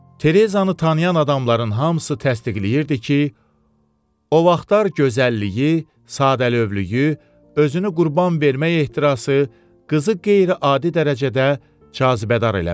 Terezzanı tanıyan adamların hamısı təsdiqləyirdi ki, o vaxtlar gözəlliyi, sadəlövhlüyü, özünü qurban vermək ehtirası qızı qeyri-adi dərəcədə cazibədar eləmişdi.